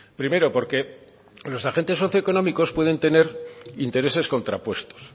primero porque los agentes socioeconómicos pueden tener intereses contrapuestos